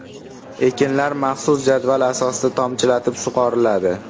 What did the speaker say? Ekinlar maxsus jadval asosida tomchilatib sug‘oriladi.